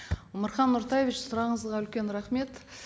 омархан нұртаевич сұрағыңызға үлкен рахмет